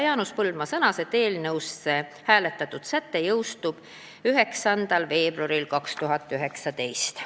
Jaanus Põldmaa sõnas, et eelnõusse hääletatud säte jõustub 9. veebruaril 2019.